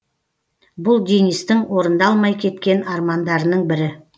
бұл денистің орындалмай кеткен армандарының бірі